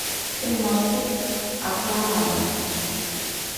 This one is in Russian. приморский океанариум